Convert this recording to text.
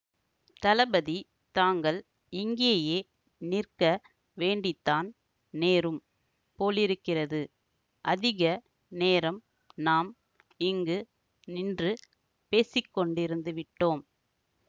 தளபதி தாங்கள் இங்கேயே நிற்க வேண்டித்தான் நேரும் போலிருக்கிறது அதிக நேரம் நாம் இங்கு நின்று பேசிக்கொண்டிருந்து விட்டோம்